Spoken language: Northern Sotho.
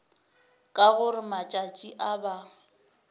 ka gore matšatši a ba